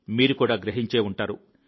మీరు కూడా గ్రహించి ఉంటారు